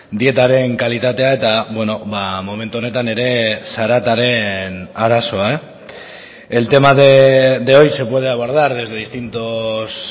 dietaren kalitatea eta momentu honetan ere zarataren arazoa el tema de hoy se puede abordar desde distintos